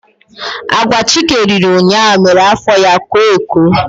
Agwa Chike riri ụnyaahụ mere afọ ya koo eko.